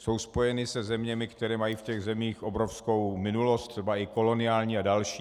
Jsou spojeny se zeměmi, které mají v těch zemích obrovskou minulost, třeba i koloniální a další.